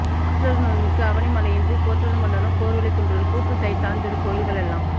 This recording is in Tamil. ஆற்றரு நோய்மிக்கு அவனி மழைஇன்றிப் போற்றரு மன்னரும் போர்வலி குன்றுவர் கூற்றுதைத் தான்திருக் கோயில்கள் எல்லாம்